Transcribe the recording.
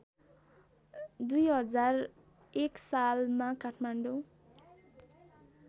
२००१ सालमा काठमाडौँ